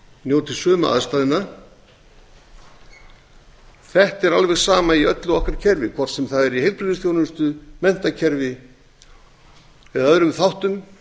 njóti sömu aðstæðna þetta er alveg sama í öllu okkar kerfi hvort sem það er í heilbrigðisþjónustu menntakerfi eða öðrum þáttum